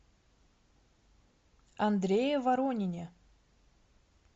андрее воронине